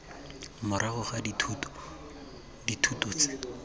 morago ga dithuto dithuto tse